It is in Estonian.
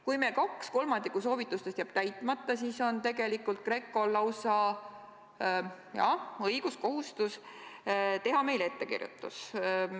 Kui meil kaks kolmandikku soovitustest jääb täitmata, siis on tegelikult GRECO-l õigus, lausa kohustus teha meile ettekirjutus.